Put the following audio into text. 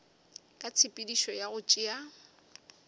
ka tshepedišo ya go tšea